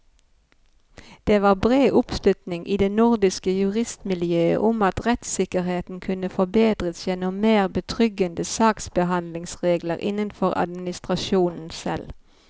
Det var bred oppslutning i det nordiske juristmiljøet om at rettssikkerheten kunne forbedres gjennom mer betryggende saksbehandlingsregler innenfor administrasjonen selv.